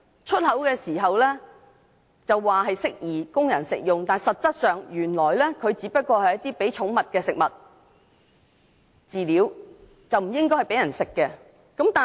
出口時說適宜供人食用，但實際上只是供寵物食用的飼料，並不宜供人食用。